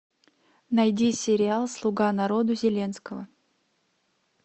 найди сериал слуга народа зеленского